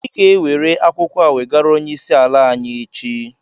Ị ga-enwere akwụkwọ a wegara onyeisi ala anyị échi